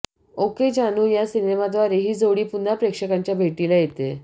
okay Jaanu या सिनेमाद्वारे ही जोडी पुन्हा प्रेक्षकांच्या भेटीला येतेय